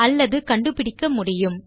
அல்லது கண்டுபிடிக்க முடியும்